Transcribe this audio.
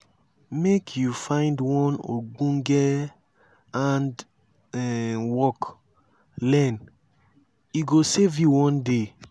make you find one ogbonge hand-work learn e go save you one day.